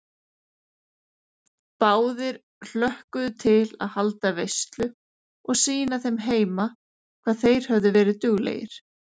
Báðir hlökkuðu til að halda veislu og sýna þeim heima hvað þeir höfðu verið duglegir.